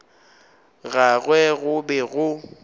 ga gagwe go be go